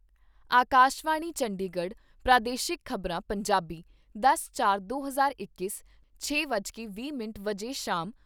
ਆਕਾਸ਼ਵਾਣੀ ਚੰਡੀਗੜ੍ਹ ਪ੍ਰਾਦੇਸ਼ਿਕ ਖ਼ਬਰਾਂ , ਪੰਜਾਬੀ ਦਸ ਚਾਰ ਦੇ ਹਜ਼ਾਰ ਇੱਕ, ਛੇ ਵੱਜ ਕੇ ਵੀਹ ਮਿੰਟ ਸ਼ਾਮ